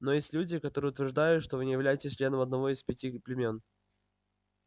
но есть люди которые утверждают что вы не являетесь членом одного из пяти племён